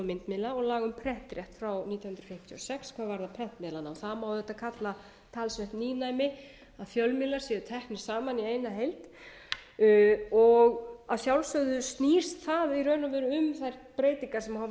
myndmiðla og laga um prentrétt frá nítján hundruð fjörutíu og sex hvað varðar prentmiðlana það má auðvitað kalla talsvert nýmæli að fjölmiðlar séu teknir saman í eina heild og að sjálfsögðu snýst það í raun og veru um þær breytingar sem hafa